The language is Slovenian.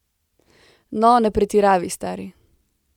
No, ne pretiravaj, stari.